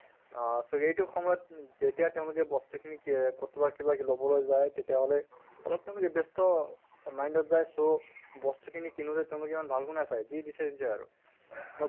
অহ so এইটো সময়ত যেতিয়া তেওঁলোকে বস্তু খিনি কেহ কতোবা কিবা লʼবলৈ যায় তেতিয়াহʼলে অলপ তেওঁলোকে ব্য়স্ত mind ত যায় so বস্তু খিনি কিনোতে তেওঁলোকে ইমান ভালকৈ নাচায় যি দিছে দিছে আৰু